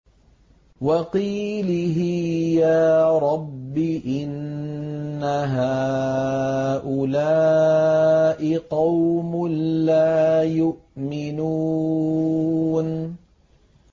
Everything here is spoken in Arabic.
وَقِيلِهِ يَا رَبِّ إِنَّ هَٰؤُلَاءِ قَوْمٌ لَّا يُؤْمِنُونَ